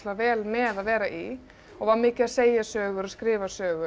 vel með að vera í og var mikið að segja sögur og skrifa sögur og